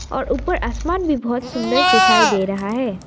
और ऊपर आसमान भी बहोत सुंदर दिखाई दे रहा है।